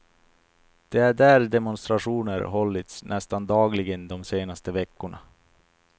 Det är där demonstrationer hållits nästan dagligen de senaste veckorna.